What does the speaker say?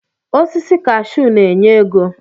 Osisi kashuu na-enye ego